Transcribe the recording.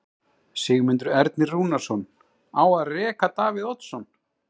Sigmundur Ernir Rúnarsson: Á að reka Davíð Oddsson?